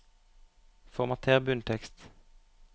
Formater bunntekst